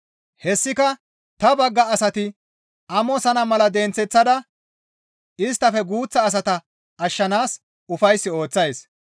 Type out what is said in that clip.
Hessika ta bagga asati amosana mala denththeththada isttafe guuththa asata ashshanaas ufays ooththays.